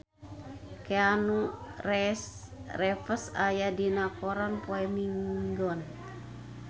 Keanu Reeves aya dina koran poe Minggon